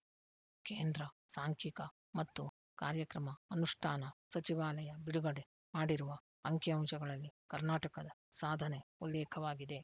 ಕೇಂದ್ರ ಸಾಂಖಿಕ ಮತ್ತು ಕಾರ್ಯಕ್ರಮ ಅನುಷ್ಠಾನ ಸಚಿವಾಲಯ ಬಿಡುಗಡೆ ಮಾಡಿರುವ ಅಂಕಿಅಂಶಗಳಲ್ಲಿ ಕರ್ನಾಟಕದ ಸಾಧನೆ ಉಲ್ಲೇಖವಾಗಿದೆ